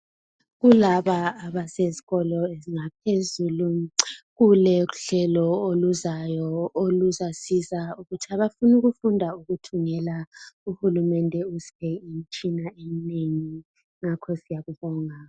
Laba abasezikolo ezingaphezulu kulohlelo oluzayo .oluzasiza ukuthi abafuna ukufunda ukuthungela . Uhulumende ubise imitshine minengi . Ngakho siyakubonga .